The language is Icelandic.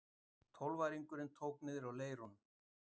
Tólfæringurinn tók niðri í leirnum.